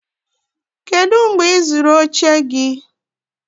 kedu mgbe ị zụrụ oche gị?